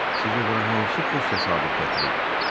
Sizi bura hansı xoş təsadüf gətirib?